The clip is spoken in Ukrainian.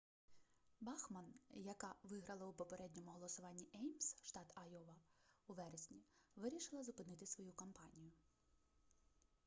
бахман яка виграла у попередньому голосуванні еймс штат айова у вересні вирішила зупинити свою кампанію